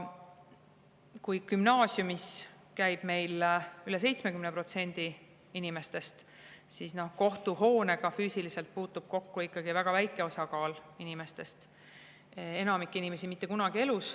Kui gümnaasiumis käib meil üle 70% inimestest, siis kohtuhoonega füüsiliselt puutub kokku ikkagi väga väike osa inimestest, enamik inimesi mitte kunagi.